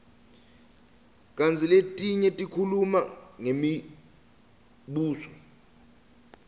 kantsi letinye tikhuluma ngemibuso